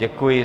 Děkuji.